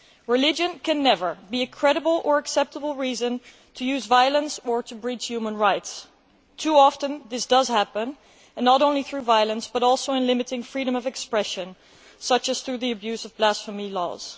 Religion can never be a credible or acceptable reason to use violence or to breach human rights. Too often this does happen, not only through violence, but also in limiting freedom of expression such as through the abuse of blasphemy laws.